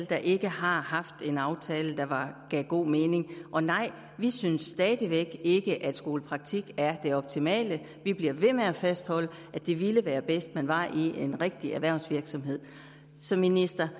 der ikke har haft en aftale der gav god mening og nej vi synes stadig væk ikke at skolepraktik er det optimale vi bliver ved med at fastholde at det ville være bedst at man var i en rigtig erhvervsvirksomhed så minister